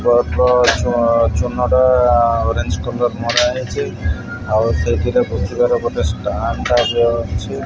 ବର୍ବ ଚୁଆଁ ଚୁନା ଟା ଓରେଞ୍ଜେ କଲର୍ ମରା ହେଇଚି ଆଉ ସେଇଥିରେ ପୋତିବାର ଗୋଟେ ଷ୍ଟାଣ୍ଡ ଟାଇପ୍ ର ଅଛି।